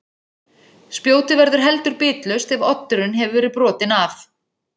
Spjótið verður heldur bitlaust ef oddurinn hefur verið brotinn af.